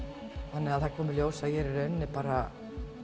þannig að það kom í ljós að ég er bara